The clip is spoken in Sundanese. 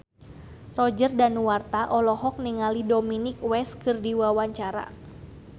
Roger Danuarta olohok ningali Dominic West keur diwawancara